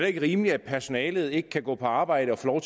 ikke rimeligt at personalet ikke kan gå på arbejde og få